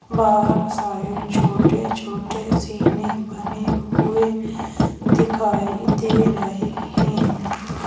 बाहर सारे छोटे छोटे ज़ीने बने हुए दिखाई दे रहे हैं।